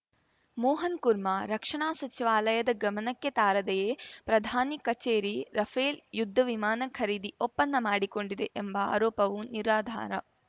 ಮೋಹನ್‌ ಕುರ್ಮಾ ರಕ್ಷಣಾ ಸಚಿವಾಲಯದ ಗಮನಕ್ಕೆ ತಾರದೆಯೇ ಪ್ರಧಾನಿ ಕಚೇರಿ ರಫೇಲ್‌ ಯುದ್ಧ ವಿಮಾನ ಖರೀದಿ ಒಪ್ಪಂದ ಮಾಡಿಕೊಂಡಿದೆ ಎಂಬ ಆರೋಪವು ನಿರಾಧಾರ